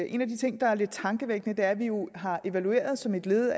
en af de ting der er lidt tankevækkende er at vi jo har evalueret som et led